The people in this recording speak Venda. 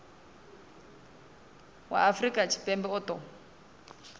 wa afrika tshipembe a ṱo